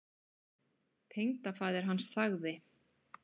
Tengdafaðir hans þagði.